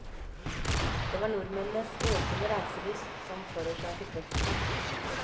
Det var nordmennenes økede reiselyst som forårsaket veksten.